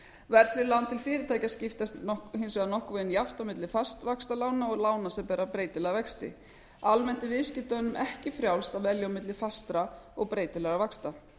verðtryggð lán til fyrirtækja skiptast hins vegar nokkurn veginn jafnt á milli fastvaxtalána og lána sem bera breytilega vexti almennt er viðskiptunum ekki frjálst að velja á milli fastra og breytilegra vaxta